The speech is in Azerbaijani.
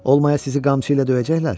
Olmaya sizi qamçı ilə döyəcəklər?